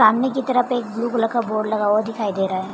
सामने की तरफ एक ब्लू कलर का बोर्ड लगा हुआ दिखाई दे रहा है ।